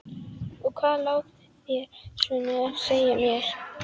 Og hvað lá þér svona á að segja mér?